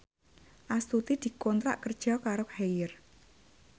Astuti dikontrak kerja karo Haier